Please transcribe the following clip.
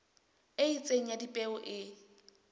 e itseng ya dipeo e